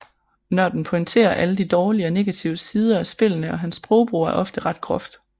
Nørden pointerer alle de dårlige og negative sider af spillene og hans sprogbrug er ofte ret groft